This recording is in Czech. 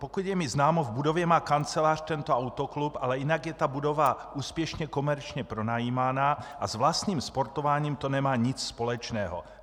Pokud je mi známo, v budově má kancelář tento autoklub, ale jinak je ta budova úspěšně komerčně pronajímána a s vlastním sportováním to nemá nic společného.